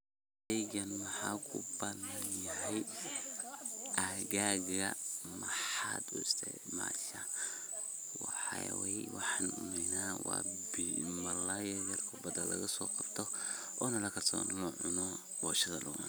Waxa waye waxan malay oo bada lagaso qabto oona lacuno oo boshada lugucuno.